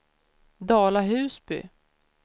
Dala-Husby